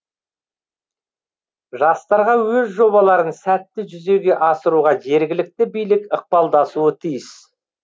жастарға өз жобаларын сәтті жүзеге асыруға жергілікті билік ықпалдасуы тиіс